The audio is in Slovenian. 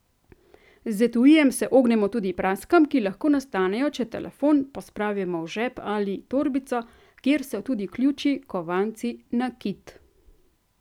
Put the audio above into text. Z etuijem se ognemo tudi praskam, ki lahko nastanejo, če telefon pospravimo v žep ali torbico, kjer so tudi ključi, kovanci, nakit.